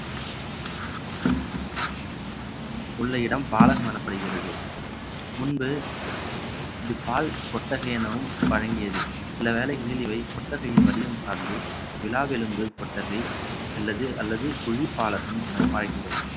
உள்ள இடம் பாலகம் எனப்படுகிறது முன்பு இது பால் கொட்டகை எனவும் வழங்கியது சில வேளைகளில் இவை கொட்டகையின் வடிவம் சார்ந்து விலாவெலும்பு கொட்டகை அல்லது குழிப்பாலகம் எனவும் அழைக்கப்படும்